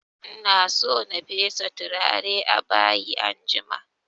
Ina so na fesa turare a bayi anjima